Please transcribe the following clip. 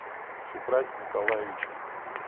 шухрате николаевиче